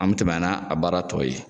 An bi tɛmɛ n'a baara tɔw ye.